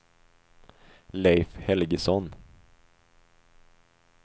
Leif Helgesson